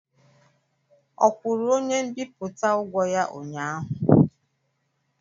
Ọ kwụrụ onye mbipụta ụgwọ ya ụnyaahụ?